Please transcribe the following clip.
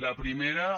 la primera